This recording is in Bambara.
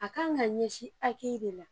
A kan ka ɲɛsin akeyi de la